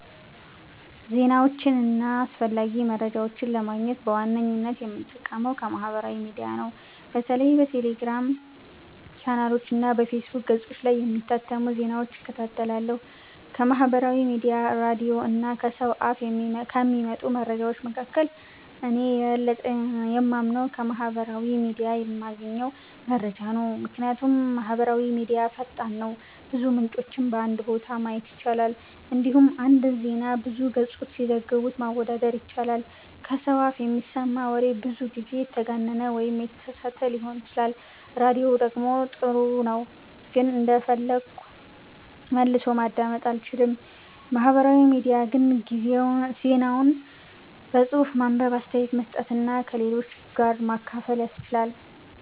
ዜናዎችን እና አስፈላጊ መረጃዎችን ለማግኘት በዋነኝነት የምጠቀመው ከማህበራዊ ሚዲያ ነው። በተለይም በቴሌግራም ቻናሎች እና በፌስቡክ ገጾች ላይ የሚታተሙ ዜናዎችን እከታተላለሁ። ከማህበራዊ ሚዲያ፣ ራዲዮ እና ከሰው አፍ ከሚመጡ መረጃዎች መካከል፣ እኔ የበለጠ የማምነው ከማህበራዊ ሚዲያ የምገኘውን መረጃ ነው። ምክንያቱም ማህበራዊ ሚዲያ ፈጣን ነው፣ ብዙ ምንጮችን በአንድ ቦታ ማየት ይቻላል፣ እንዲሁም አንድን ዜና ብዙ ገጾች ሲዘግቡት ማወዳደር ይቻላል። ከሰው አፍ የሚሰማ ወሬ ብዙ ጊዜ የተጋነነ ወይም የተሳሳተ ሊሆን ይችላል። ራዲዮ ደግሞ ጥሩ ነው ግን እንደፈለግኩ መልሶ ማዳመጥ አልችልም። ማህበራዊ ሚዲያ ግን ዜናውን በጽሁፍ ማንበብ፣ አስተያየት መስጠት እና ከሌሎች ጋር ማካፈል ያስችላል።